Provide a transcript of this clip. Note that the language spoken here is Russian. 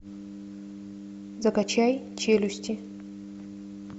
закачай челюсти